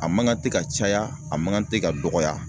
A man kan tɛ ka caya a man kan tɛ ka dɔgɔya.